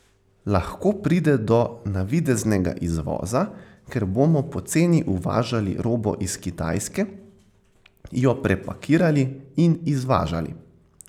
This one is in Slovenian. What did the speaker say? Lahko pride do navideznega izvoza, ker bomo poceni uvažali robo iz Kitajske, jo prepakirali in izvažali.